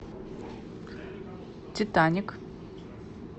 титаник